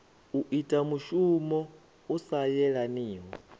ita mushumo u sa yelaniho